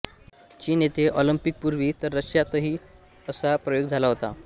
चीन येथे ओलम्पिक पूर्वी तर रशिया तही असा प्रयोग झाला होता